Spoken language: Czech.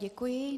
Děkuji.